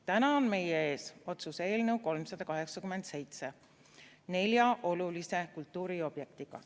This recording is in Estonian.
Täna on meie ees otsuse eelnõu 387 nelja olulise kultuuriobjektiga.